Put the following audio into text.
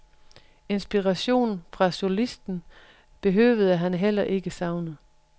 Inspiration fra solisten behøvede han heller ikke savne.